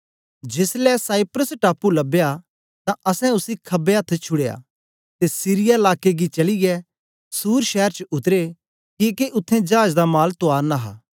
जेसलै साइप्रस टापू लबया तां असैं उसी खबे अथ्थ छुड़या ते सीरिया लाके गी चलीयै सूर शैर च उतरे किके उत्थें चाज दा माल तुआरना हा